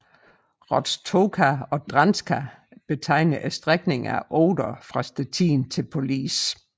Roztoka Odrzańska betegner strækningen af Oder fra Stettin til Police